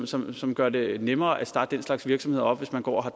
som som gør det nemmere at starte den slags virksomhed op hvis man går og har